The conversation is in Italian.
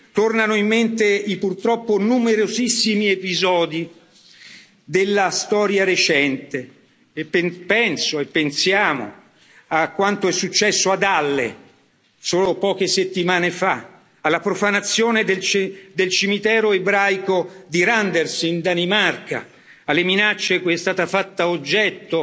Tornano in mente i purtroppo numerosissimi episodi della storia recente e penso, e pensiamo, a quanto è successo ad Halle solo poche settimane fa, alla profanazione del cimitero ebraico di Randers in Danimarca, alle minacce cui è stata fatta oggetto